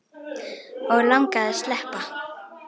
Og langaði að sleppa.